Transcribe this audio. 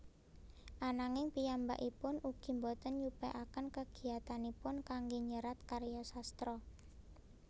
Ananging piyambakipun ugi boten nyupekaken kegiyatanipun kangge nyerat krya sastra